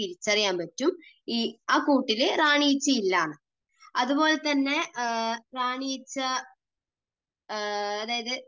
തിരിച്ചറിയാൻ പറ്റും, ആ കൂട്ടിൽ റാണി ഈച്ച ഇല്ലയെന്ന്. അതുപോലെതന്നെ റാണി ഈച്ച, അതായത്